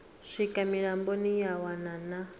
swika mulamboni ya wana na